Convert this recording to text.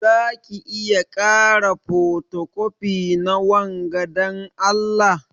Zaka iya kara fotocopi na wanga dan Allah?